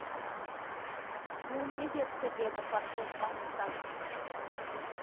ол не депті деді портос маңызданып